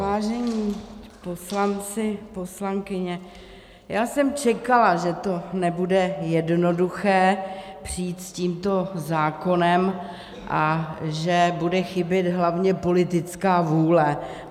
Vážení poslanci, poslankyně, já jsem čekala, že to nebude jednoduché přijít s tímto zákonem a že bude chybět hlavně politická vůle.